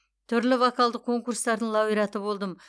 түрлі вокалдық конкурстардың лауреаты болдым